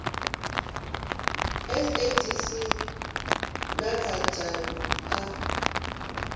sadc na kha dzhango a